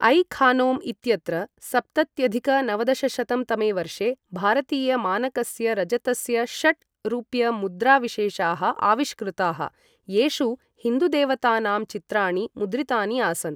I खानौम् इत्यत्र सप्तत्यधिक नवदशशतं तमे वर्षे भारतीय मानकस्य रजतस्य षट् रुप्यमुद्राविशेषाः आविष्कृताः, येषु हिन्दुदेवतानां चित्राणि मुद्रितानि आसन्।